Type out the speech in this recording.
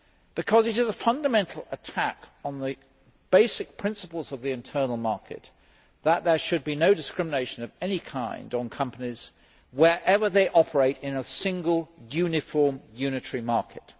Because it is a fundamental attack on the basic principle of the internal market that there should be no discrimination of any kind on companies, wherever they operate in a single uniform unitary market.